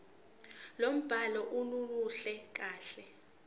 lombhalo aluluhle kahle